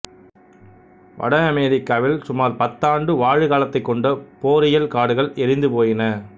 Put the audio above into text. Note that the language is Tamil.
வட அமெரிக்காவில் சுமார் பத்தாண்டு வாழு காலத்தை கொண்ட போரியல் காடுகள் எரிந்துபோயின